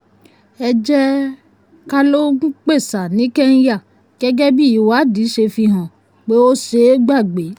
ẹ jẹ́ ká lo m-pesa ní kenya gẹ́gẹ́ bí ìwádìí ṣe fi hàn pé ó ṣeé gbàgbé.